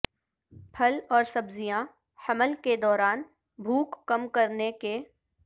پھل اور سبزیاں حمل کے دوران بھوک کم کرنے کے